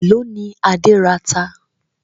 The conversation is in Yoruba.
Èló ni Adé rata?